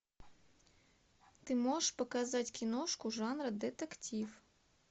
ты можешь показать киношку жанра детектив